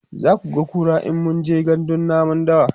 zakuga kura in mun je gandun namun dawa